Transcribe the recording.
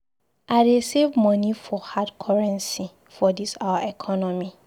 I dey save moni for hard currency for dis our economy.